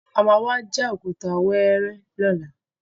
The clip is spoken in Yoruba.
A má wá já òkúta wẹ́ẹ́rẹ́ lọ́la.